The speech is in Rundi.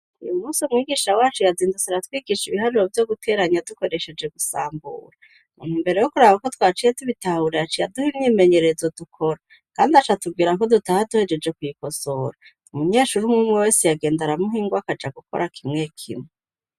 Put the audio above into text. Uyu musi umwigisha wacu iyazindusi aratwigisha ibihariro vyo guteranya dukoresheje gusambura muntu mbere yo kuraba uko twaciye tubitahurayaca iyaduha imyimenyererzo dukora, kandi aca tubwira ko dutaha duhejeje ku'yikosora umunyeshuri mwumwe wese yagenda aramuhingwakaja gukora kimwe kimwe.